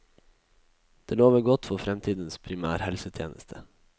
Det lover godt for fremtidens primærhelsetjeneste.